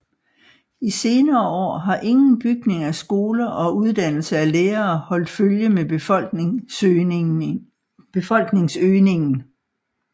I senere år har ingen bygning af skoler og uddannelse af lærere holdt følge med befolkningsøgningen